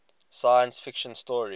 science fiction story